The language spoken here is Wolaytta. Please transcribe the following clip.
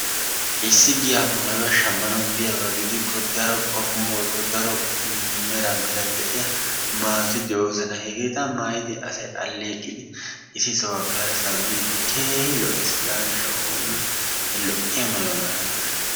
Issi giyaappe mayuwa shammanawu biyaaba gidikko daro qommo woykko daro meran meran de'iya mayoti de'oosona. Hegeeta mayidi asay alleeqidi issi sohuwappe hara sohuwa bin keehi lo'ees. Hegaa gishshawu oonne he lo'iya mayuwa mayana koshshes.